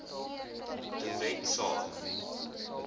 de wet saak